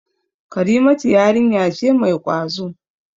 Karimatu yarinya ce mai ƙwazo.